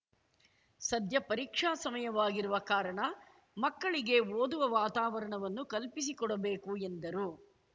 ಸದ್ಯ ಪರೀಕ್ಷಾ ಸಮಯವಾಗಿರುವ ಕಾರಣ ಮಕ್ಕಳಿಗೆ ಓದುವ ವಾತಾವರಣವನ್ನು ಕಲ್ಪಿಸಿಕೊಡಬೇಕು ಎಂದರು